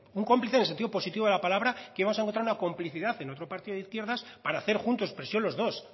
un cómplice en el sentido positivo de la palabra que íbamos a encontrar una complicidad en otro partido de izquierdas para hacer juntos presión los dos